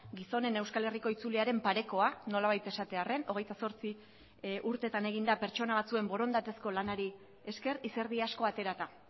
gizonen euskal herriko itzuliaren parekoa nolabait esatearren hogeita zortzi urtetan egin da pertsona batzuen borondatezko lanari esker izerdi asko aterata